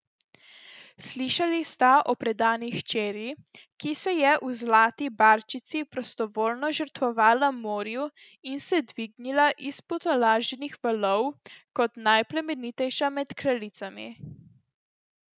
Slišali sta o predani hčeri, ki se je v zlati barčici prostovoljno žrtvovala morju in se dvignila iz potolaženih valov kot najplemenitejša med kraljicami.